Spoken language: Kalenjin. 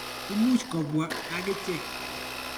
Imuch kopwa akichek.